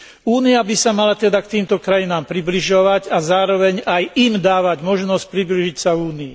Únia by sa teda mala k týmto krajinám približovať a zároveň aj im dávať možnosť priblížiť sa Únii.